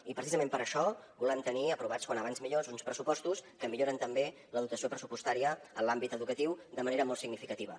i precisament per això volem tenir aprovats com abans millor uns pressupostos que milloren també la dotació pressupostària en l’àmbit educatiu de manera molt significativa